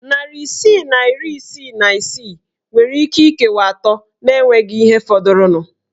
Narị isii na iri isii na isii nwere íké ikewa atọ na enweghị ihe fọdụrụnụ.